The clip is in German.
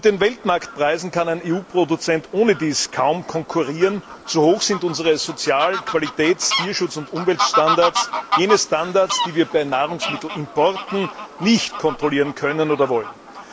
Mit den Weltmarktpreisen kann ein EU Produzent ohnedies kaum konkurrieren, so hoch sind unsere Sozial Qualitäts Tierschutz und Umweltstandards jene Standards, die wir bei Nahrungsmittelimporten nicht kontrollieren können oder wollen.